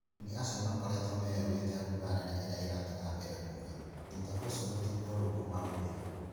Ageni acio maakoretwo meurite mbura nene ĩrĩa ĩrathiĩ na mbere kuura, thutha ũcio rũthingo rũu kũmagũira.